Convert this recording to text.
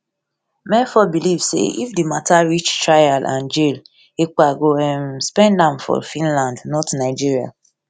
mefor believe say if di matter reach trial and jail ekpa go um spend am for finland not nigeria